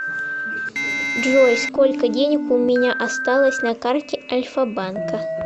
джой сколько денег у меня осталось на карте альфа банка